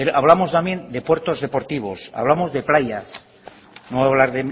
hablamos también de puertos deportivos hablamos de playas no voy hablar